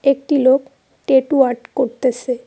একটি লোক tattoo art করতেসে।